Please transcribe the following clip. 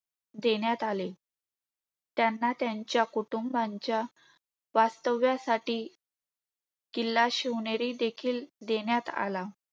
देण्यात आले. त्यांना त्यांच्या कुटुंबाच्या वास्तव्यासाठी किल्ला शिवनेरी देखील देण्यात आला.